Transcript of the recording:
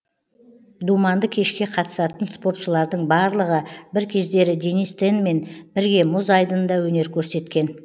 думанды кешке қатысатын спортшылардың барлығы бір кездері денис тенмен бірге мұз айдынында өнер көрсеткен